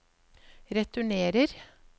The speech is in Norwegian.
returnerer